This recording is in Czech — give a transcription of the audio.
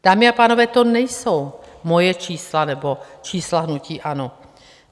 Dámy a pánové, to nejsou moje čísla nebo čísla hnutí ANO.